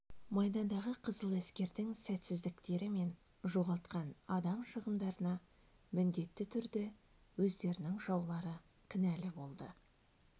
майдандағы қызыл әскердің сәтсіздіктері мен жоғалтқан адам шығындарына міндетті түрде өздерінің жаулары кінәлі болды